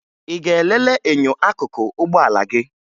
Ị ga-elele enyo akụkụ ụgbọala gị?